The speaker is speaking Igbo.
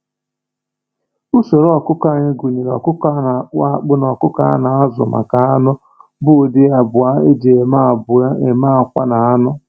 Usoro ọkụkọ anyị gụnyere ọkụkọ na-akpụ akpụ na ọkụkọ a na-azụ maka anụ, bụ ụdị abụọ eji eme abụọ eji eme akwa na anụ.